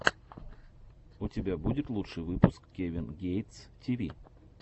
у тебя будет лучший выпуск кевин гейтс ти ви